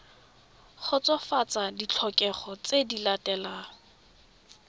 kgotsofatsa ditlhokego tse di latelang